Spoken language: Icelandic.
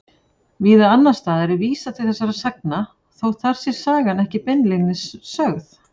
Víða annars staðar er vísað til þessara sagna þótt þar sé sagan ekki beinlínis sögð.